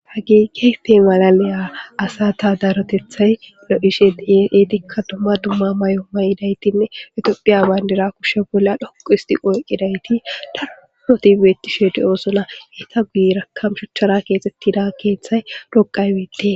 Hageekepe malaliya asata darotethay lo7ishe dietikka dumma dumma may7o mayidaytinne etophiya bayndira kushe bolla dhoqu histi qoyqidayti dahotibeettishe de7osola heta guyira kamshuchara keexettida keeththay doqay wetee